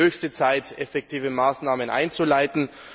Es ist höchste Zeit, effektive Maßnahmen einzuleiten.